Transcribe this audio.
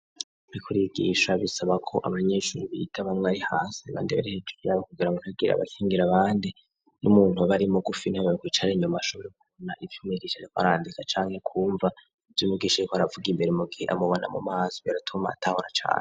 Bariko barigisha bisaba ko abanyeshuri biga bamwe ari hasi abandi bari hejuru kugira ni hagire abakingira bandi nk'umuntu aba Ari mugufi niwe wokwicara inyuma ashobore kubona ivyumwigosha e ricare kwarandika cane kumva vyumwigisha ariko aravuga imbere mugihe amubona mu maso biratuma atahora cane.